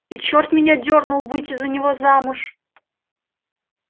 и черт меня дёрнул выйти за него замуж